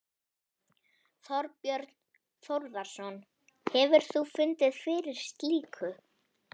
Þorbjörn Þórðarson: Hefur þú fundið fyrir slíku?